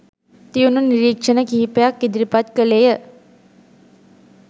තියුණු නිරීක්ෂණ කිහිපයක් ඉදිරිපත් කළේය